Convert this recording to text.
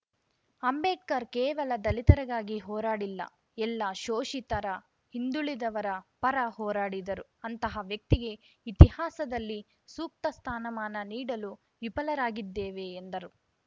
ಅಂಬೇಡ್ಕರ್‌ ಕೇವಲ ದಲಿತರಿಗಾಗಿ ಹೋರಾಡಿಲ್ಲ ಎಲ್ಲ ಶೋಷಿತರ ಹಿಂದುಳಿದವರ ಪರ ಹೋರಾಡಿದರು ಅಂತಹ ವ್ಯಕ್ತಿಗೆ ಇತಿಹಾಸದಲ್ಲಿ ಸೂಕ್ತ ಸ್ಥಾನಮಾನ ನೀಡಲು ವಿಫಲರಾಗಿದ್ದೇವೆ ಎಂದರು